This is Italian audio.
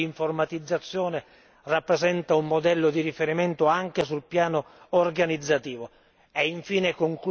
Non vi è dubbio che il sistema di informatizzazione rappresenta un modello di riferimento anche sul piano organizzativo.